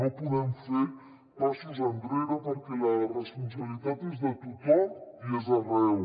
no podem fer passos enrere perquè la responsabilitat és de tothom i és arreu